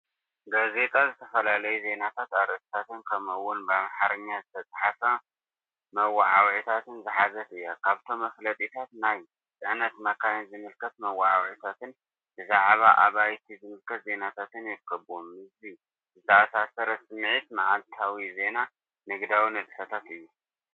ጋዜጣ ዝተፈላለዩ ዜናታት ኣርእስታት ከምኡ’ውን ብኣምሓርኛ ዝተጻሕፉ መወዓውዒታት ዝሓዘት እያ። ካብቶም መፋለጢታት ናይ ጽዕነት መካይን ዝምልከት መወዓውዒታትን ብዛዕባ ኣባይቲ ዝምልከት ዜናታትን ይርከብዎም። ምስዚ ዝተኣሳሰር ስምዒት መዓልታዊ ዜናን ንግዳዊ ንጥፈታትን እዩ።